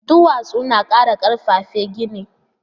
Duwatsu na ƙara ƙarfafa gini